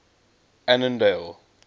annandale